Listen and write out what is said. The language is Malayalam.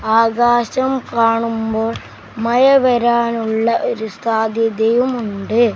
ആകാശം കാണുമ്പോൾ മഴ വരാനുള്ള ഒരു സാധ്യതയുമുണ്ട്.